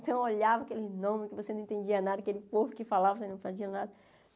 Então, eu olhava aquele nome, que você não entendia nada, aquele povo que falava, você não entendia nada.